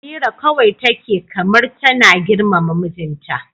Amira kawai take kamar tana girmama mijinta.